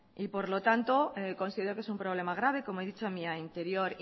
y por lo tanto considero que es un problema grave como he dicho en mi anterior